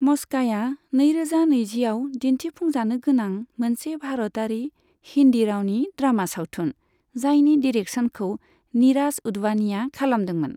मस्का'या नैरोजा नैजिआव दिन्थिफुंजानो गोनां मोनसे भारतारि हिन्दी रावनि ड्रामा सावथुन, जायनि डिरेकसनखौ नीराज उधवानीया खालामदोंमोन।